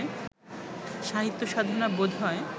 সাহিত্য সাধনা বোধ হয়